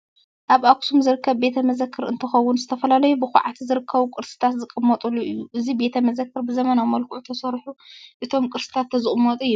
ኣብ ኣክሱም ዝርከብ ቤተ መዘክር እንትኸውን ዝተፈላለዩ ብኳዕቲ ዝተረከቡ ቅርስታት ዝቅመጠሉ እዩ። እዚ ቤተ መዘክር ብዘበናዊ መልክዑ ተሰሪሑ እቶም ቅርስታት ተዝቅመጡ ይብል።